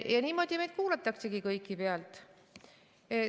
Niimoodi meid kõiki kuulataksegi pealt.